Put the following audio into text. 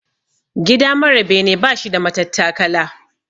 Gida mara bene bashi da matattakala.